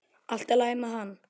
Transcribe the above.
Allt í lagi með hann!